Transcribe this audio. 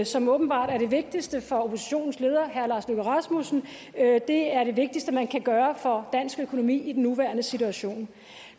som åbenbart er det vigtigste for oppositionens leder herre lars løkke rasmussen er det er det vigtigste man kan gøre for dansk økonomi i den nuværende situation